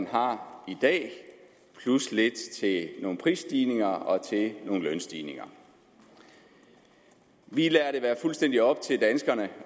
har i dag plus lidt til nogle prisstigninger og til nogle lønstigninger vi lader det være fuldstændig op til danskerne